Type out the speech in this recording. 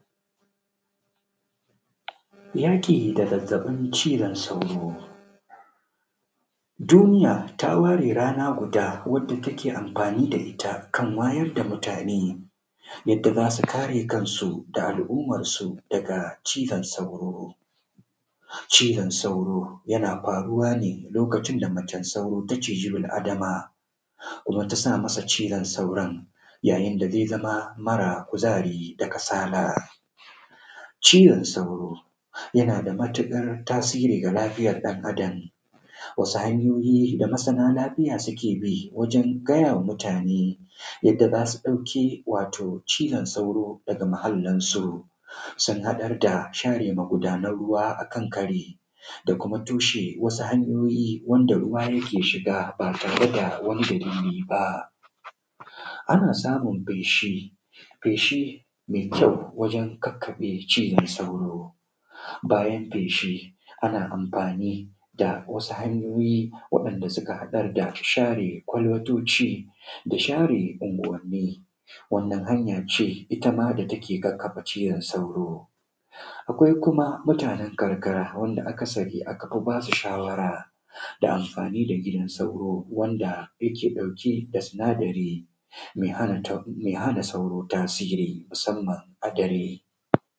Yaƙi da zazzabin cizon sauro duniya ta ware rana guda wanda take amfani da ita kan wayar da mutane yadda za su kare kansu da al’ummansu daga cizon sauro yana faru wane lokacin da macen sauro da ciza bil adama, kuma ta sa masa cizon sauro, yayin da ze zama mara kuzari da kasala. Cizon sauro yana da matuƙar tasiri ga lafiyar ɗan adam, wasu hanyoyi da masana lafiya suke bi wajen gaya wa mutumate yadda za su ɗauki cizon sauro da muhallin su, sun haɗar da share magudanra ruwa akan kari da kuma toshe wasu hanyoyi wanda ruwa yake shiga, ba tare da wannan dalili ba, ana samun feshi, feshi me kyau wajen kakkaɓe cizon sauro. Bayan feshi ana amfani da wasu hanyoyi wanda suke haɗar da share kwalbatoci da share unguwanni, wannan hanya ce ita ma da take kakkaɓe cizon sauro. Akwai kuma mutanen ƙarkara wanda aka sani aka fi ba su shawara da amfani da gidan sauro wanda yake ɗauke da sinadari me hana sauro tasiri musamman da dare.